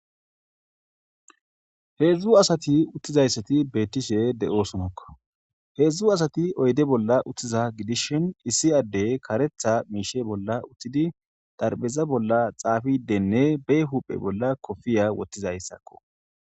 Heedzdzu asati uttizayssati beettishe de'osonakko heedzdzu asati oyde bolla uttiza gidishin issi addey karetha miishe bolla uttidi darbeza bolla xaafidenne be huphe bolla kofiya wottizayssakko.